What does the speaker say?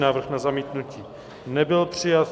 Návrh na zamítnutí nebyl přijat.